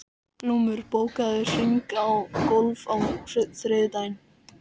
Glúmur, bókaðu hring í golf á þriðjudaginn.